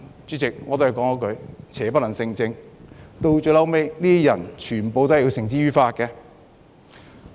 主席，邪不能勝正，這些人最後也被繩之於法。